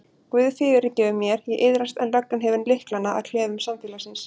Guð fyrirgefur mér, ég iðrast en löggan hefur lyklana að klefum samfélagsins.